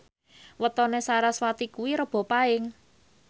wetone sarasvati kuwi Rebo Paing